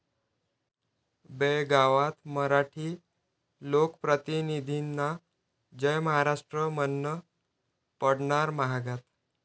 बेळगावात मराठी लोकप्रतिनिधींना जय महाराष्ट्र म्हणणं पडणार महागात